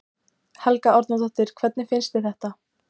Helga Arnardóttir: Hvernig finnst þér þetta?